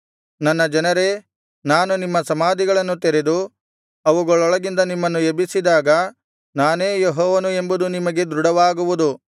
ನನ್ನ ಜನರೇ ನಾನು ನಿಮ್ಮ ಸಮಾಧಿಗಳನ್ನು ತೆರೆದು ಅವುಗಳೊಳಗಿಂದ ನಿಮ್ಮನ್ನು ಎಬ್ಬಿಸಿದಾಗ ನಾನೇ ಯೆಹೋವನು ಎಂದು ನಿಮಗೆ ದೃಢವಾಗುವುದು